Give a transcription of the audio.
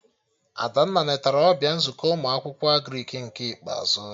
Adanne netara ọbịa nzukọ ụmụ akwụkwọ Agrịk nke ikpeazụ